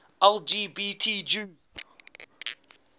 lgbt jews